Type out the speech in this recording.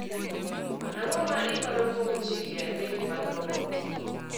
Ang�o ma iparo kuom chike adek mag robot?